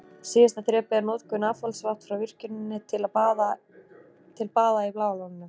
Síðasta þrepið er notkun affallsvatns frá virkjuninni til baða í Bláa lóninu.